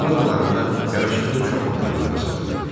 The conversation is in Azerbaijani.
Mağazalarında yaraşıqlı uşaq paltarları satılırdı.